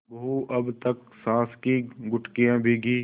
बहू अब तक सास की घुड़कियॉँ भीगी